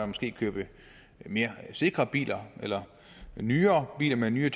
måske købte mere sikre biler eller nyere biler med nyere